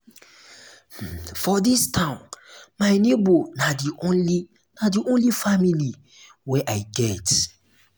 um for dis town my nebor na di only na di only family wey um i get.